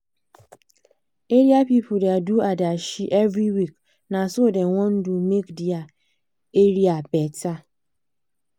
area pipu da do adashi every week na so dem wan do make dia area better